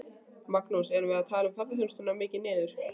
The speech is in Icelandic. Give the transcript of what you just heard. Magnús: Erum við að tala ferðaþjónustuna mikið niður?